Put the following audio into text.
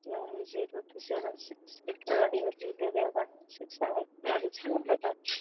ते आहे zero two seven six एका गाडी वर लिहिलेलय वन वन सिक्स आणि एका गाडीचा नंबर आ --